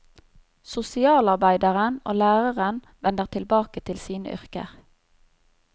Sosialarbeideren og læreren vender tilbake til sine yrker.